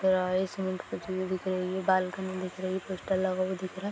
Guys हुई दिख रही है बालकनी दिख रही है पोस्टर लगा हुआ दिख रहा है।